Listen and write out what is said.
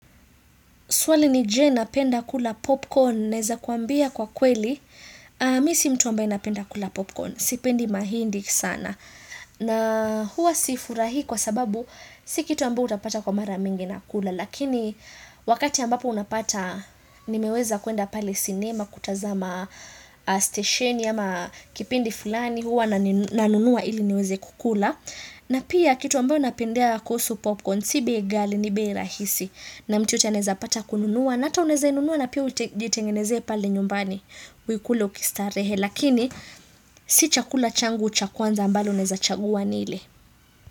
Swali ni je na penda kula popcorn, naeza kuambia kwa kweli, misi mtu ambaye napenda kula popcorn, sipendi mahindi sana. Na huwa sifurahi kwa sababu, si kitu ambayo utapata kwa maramingi na kula, lakini wakati ambapo unapata, nimeweza kuenda pale sinema, kutazama station ama kipindi fulani, huwa nanunua ili niweze kukula. Na pia kitu ambayo napendea kuhusu popcorn, sibei gali, nibei rahisi. Na mtu anaeza pata kununua na ata unaeza inunua na pia ujitengenezee pale nyumbani uikule ukistarehe lakini si chakula changu cha kwanza ambalo naeza chagua nile.